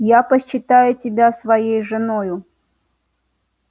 я почитаю тебя своей женою